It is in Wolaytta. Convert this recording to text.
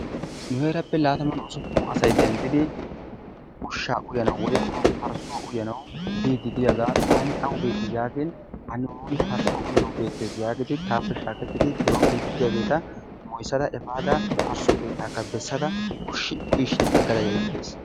Nu heerappe latamanne usuppun asay denddidi ushshaa uyanawu woykko parssuwaa uyanawu biidi diyagaa taani awu beeti yaagin parssuwa uyanawu bewttees yaagin taappe shaaketidi biroon biidi diyageeta moysada efaada parsso keettaakka bessada eti uyishshiin agada yagaas.